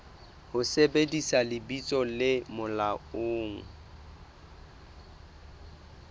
ho sebedisa lebitso le molaong